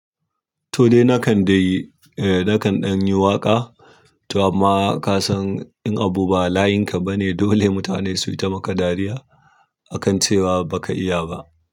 Toh dai nakan dai, eh nakan ɗan yi waƙa, to amma ka san in abu ba layinka ba ne dole mutane su yi ta maka dariya akan cewa ba ka iya ba.